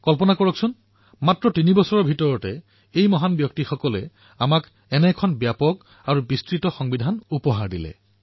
কল্পনা কৰক ৩ বছৰৰ ভিতৰতেই সেই মহান ব্যক্তিসকলে আমাক ইমান ব্যাপক আৰু বিস্তৃত সংবিধান প্ৰদান কৰিলে